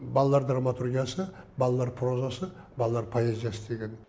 балалар драматургиясы балалар прозасы балалар поэзиясы деген